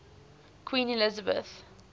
queen elizabeth